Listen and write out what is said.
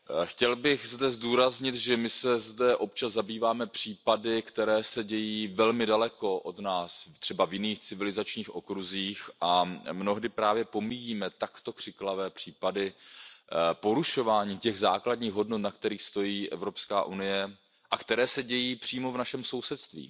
Chtěl bych zdůraznit, že my se zde občas zabýváme případy, které se dějí velmi daleko od nás, třeba v jiných civilizačních okruzích, a mnohdy právě pomíjíme takto křiklavé případy porušování těch základních hodnot, na kterých stojí Evropská unie a které se dějí přímo v našem sousedství.